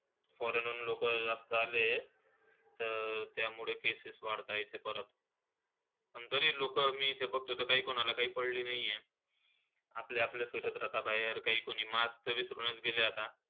Foreign वरून लोकं जास्तं आले आहेत. तर त्यामुळे cases वाढतायत इथे परत. आणि तरी लोकं इथे मी बघतोय, काय कोणाला काय पडली नाही आहे. आपलंआपलं फिरत राहतात बाहेर. काय कोणी mask, तर विसरूनच गेले आहेत आता.